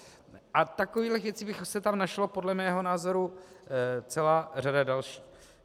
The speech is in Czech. A takových věcí by se tam našla podle mého názoru celá řada dalších.